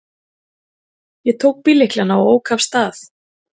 Ég tók bíllyklana og ók af stað.